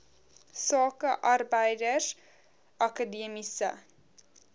sake arbeids akademiese